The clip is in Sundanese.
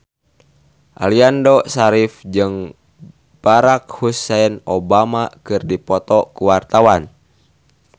Aliando Syarif jeung Barack Hussein Obama keur dipoto ku wartawan